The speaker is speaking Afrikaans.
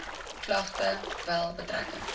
klagte wel betrekking